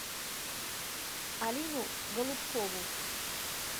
алину голубкову